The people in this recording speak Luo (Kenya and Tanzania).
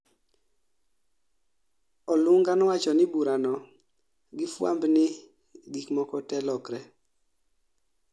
olubga nowachoni burano gi fwamb ni gikmoko te lokre